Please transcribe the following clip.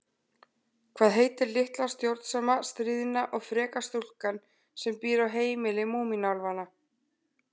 Hvað heitir litla stjórnsama, stríðna og freka stúlkan sem býr á heimili Múmínálfanna?